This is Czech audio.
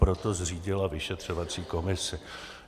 Proto zřídila vyšetřovací komisi.